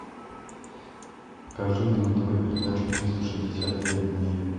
покажи мне на тв передачу триста шестьдесят пять дней